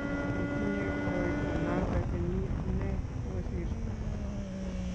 kitinyei koroito noto kenyit ne kosirto